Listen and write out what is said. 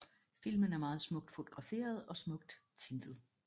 Filmen er meget smukt fotograferet og smukt tintet